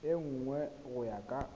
e nngwe go ya ka